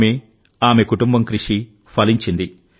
ఆమె ఆమె కుటుంబం కృషి ఫలించింది